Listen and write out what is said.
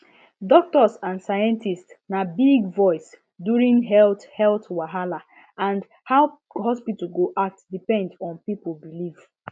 doctors and scientists na big voice during health health wahala and how hospital go act depend on people belief